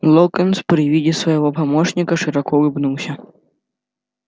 локонс при виде своего помощника широко улыбнулся